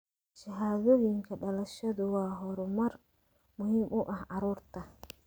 Shahaadooyinka dhalashadu waa horumar muhiim u ah carruurta.